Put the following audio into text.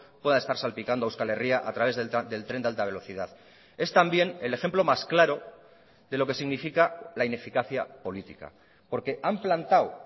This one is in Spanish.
pueda estar salpicando a euskal herria a través del tren de alta velocidad es también el ejemplo más claro de lo que significa la ineficacia política porque han plantado